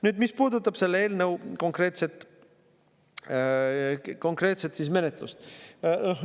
Nüüd konkreetselt selle eelnõu menetlusest.